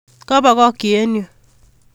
Kobokokyi eng yun